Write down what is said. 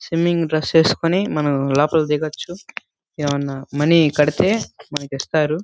Swimming dress ఏసుకుని మనం లోపలకి దిగొచ్చు. ఎమన్నామనీ కడితే మనకిస్తారు.